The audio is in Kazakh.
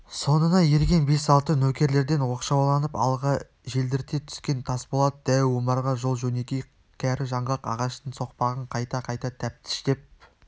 соңына ерген бес-алты нөкерлерден оқшауланып алға желдірте түскен тасболат дәу омарға жол-жөнекей кәрі жаңғақ ағаштың соқпағын қайта-қайта тәптіштеп